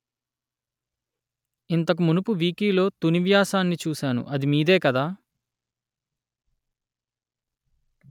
ఇంతకు మునుపు వికీలో తుని వ్యాసాన్ని చూసాను అది మీదే కదా